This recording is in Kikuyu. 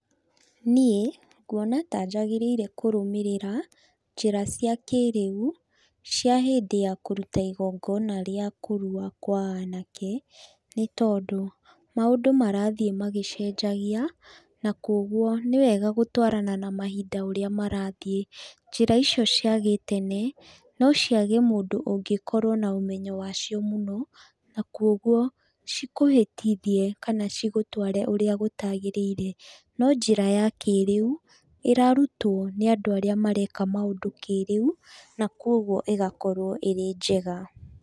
Niĩ, nguona tanjagĩrĩire kũrũmĩrĩra, njĩra cia kĩĩrĩu, cia hĩndĩ ya igongona rĩa kũrua kwa anake, nĩ tondũ maũndũ marathiĩ magĩcenjagia, na kwoguo, nĩwega gũtwarana na mahinda ũrĩa marathiĩ. Njĩra icio cia gĩtene, nociage mũndũ ũngĩkorwo na ũmenyo wacio mũno, na kwoguo, cikũhĩtithie kana igũtware ũria gũtagĩrĩire. No-njĩra ya kĩĩrĩu, ĩrarutwo nĩ andũ arĩa mareka maũndũ kĩĩrĩu, na kwoguo ĩgakorwo ĩrĩ njega.